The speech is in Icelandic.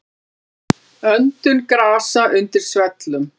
Öndun grasa undir svellum.